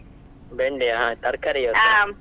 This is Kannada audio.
ಬೆಂಡೆಯಾ ತರ್ಕಾರಿ ?